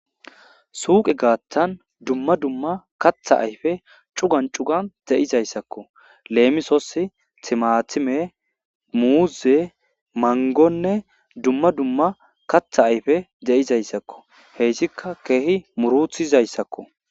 Suqe gatan duma duma katha ayfe c'ugan c'ugan dizaysako lemisos timatime,muze,mangone duma duma katha ayfe de'izaysako heysika kehi murutizaysako.